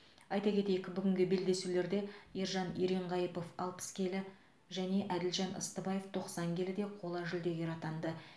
айта кетейік бүгінгі белдесулерде ержан еренқайыпов алпыс келі және әділжан ыстыбаев тоқсан келіде қола жүлдегер атанды